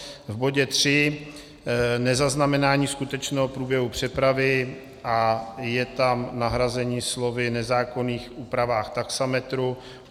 V bodě tři nezaznamenání skutečného průběhu přepravy a je tam nahrazení slovy - nezákonných úpravách taxametru.